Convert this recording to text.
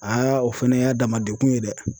Aa o fɛnɛ y'a dama dekun ye dɛ!